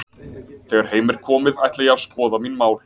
Þegar heim er komið ætla ég að skoða mín mál.